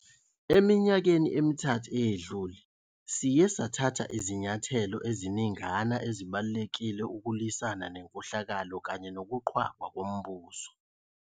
Eminyakeni emithathu eyedlule, siye sathatha izinyathelo eziningana ezibalulekile ukulwisana nenkohlakalo kanye nokuqhwagwa kombuso.